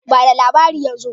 Ba da labari yanzu!